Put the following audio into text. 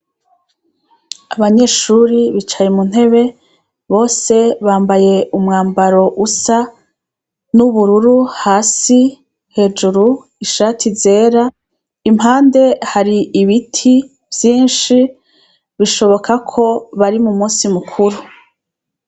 Abanyeshuri bicaye mu ntebe bose bambaye umwambaro usa n'ubururu hasi hejuru ishati zera impande hari ibiti vyinshi bishoboka ko bari mu musi mukuru.